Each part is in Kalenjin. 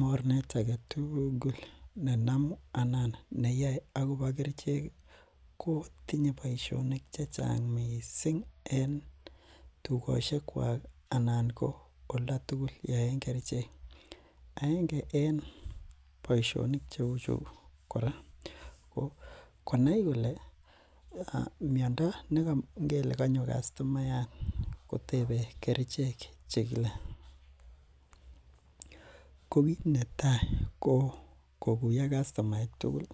Mornet agetugul nenomi anan neyoe akobo kerichek ii ko tinye boisionik chechang' missing en tugosyekwak anan ko oldatugul yeyoen kerichek, aenge en boisionik cheuchu kora ko konai kole miondo, ngele kanyo kastomayat kotebe kerichek chegile, ko kiit netai ko koguyo kastomaek tugul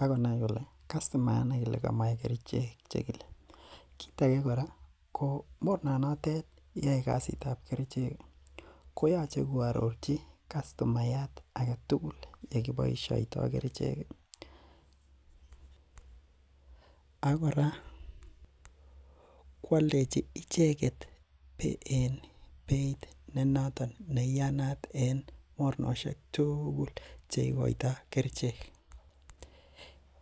ak konai kole kastomayat negile ko kamoche kerichek chegile, kiit age kora ko mornanatet neyoe kasit ab kerichek ko yoche koarorchi kastomayat agetugul yekiboisioto kerichek, ak kora koaldechi icheget en beitnenoton neiyanat en mornosiek tugul cheigoito kerichek,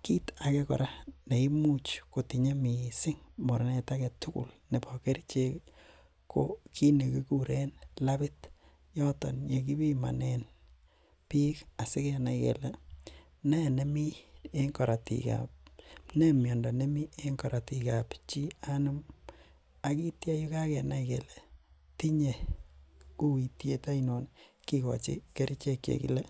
kiit age kora neimuch kotinye missing mornet agetuguk nebo kerichek ii ko kiit nekiguren labit, yoton ko yekibimonen biik asikenai kele ne miondo nemi en korotik ab chii anum ak kitya yekagenai kole tinye uityet ainon kigochi kerichek chegile.